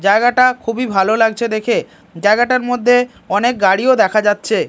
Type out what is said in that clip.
জায়গাটা খুবই ভালো লাগছে দেখে জায়গাটার মধ্যে অনেক গাড়িও দেখা যাচ্ছে।